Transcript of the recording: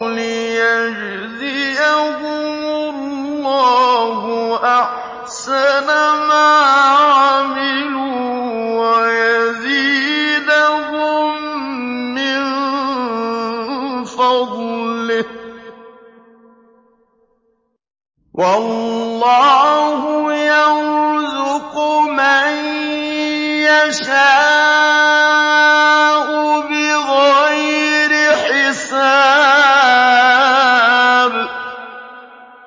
لِيَجْزِيَهُمُ اللَّهُ أَحْسَنَ مَا عَمِلُوا وَيَزِيدَهُم مِّن فَضْلِهِ ۗ وَاللَّهُ يَرْزُقُ مَن يَشَاءُ بِغَيْرِ حِسَابٍ